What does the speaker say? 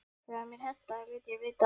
Þegar mér hentaði léti ég vita að